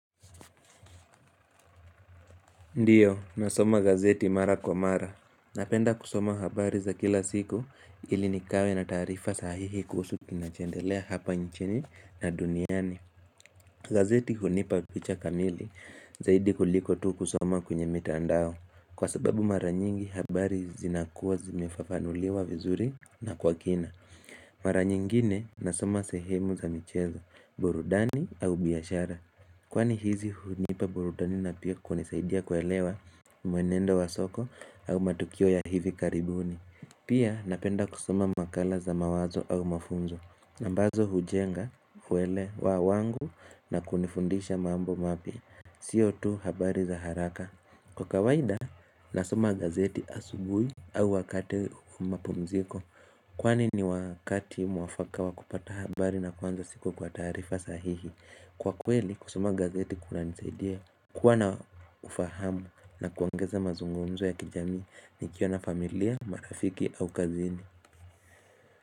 Ndiyo, nasoma gazeti mara kwa mara. Napenda kusoma habari za kila siku ili nikawe na taarifa sahihi kuhusu kinachoendelea hapa nchini na duniani. Gazeti hunipa picha kamili zaidi kuliko tu kusoma kwenye mitandao. Kwa sababu mara nyingi habari zinakuwa zimefafanuliwa vizuri na kwa kina. Mara nyingine nasoma sehemu za michezo, burudani au biashara. Kwani hizi hunipa burudani na pia kunisaidia kuelewa mwenendo wa soko au matukio ya hivi karibuni Pia napenda kusoma makala za mawazo au mafunzo ambazo hujenga huewelewa wangu na kunifundisha mambo mapya Sio tu habari za haraka Kwa kawaida nasoma gazeti asubui au wakati wa mapumziko Kwani ni wakati mwafaka wa kupata habari na kuanza siku kwa taarifa sahihi Kwa kweli kusoma gazeti kunanisaidia kuwa na ufahamu na kuongeza mazungumzo ya kijamii nikiwa na familia, marafiki au kazini.